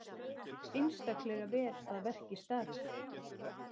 Einstaklega vel að verki staðið.